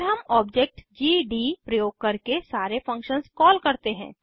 फिर हम object GD प्रयोग करके सारे फंक्शन्स कॉल करते हैं